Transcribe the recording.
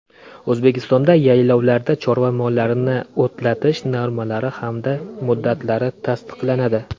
O‘zbekistonda yaylovlarda chorva mollarini o‘tlatish normalari hamda muddatlari tasdiqlanadi.